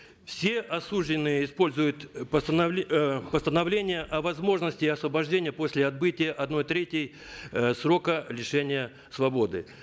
все осужденные используют э э постановление о возможности освобождения после отбытия одной трети э срока лишения свободы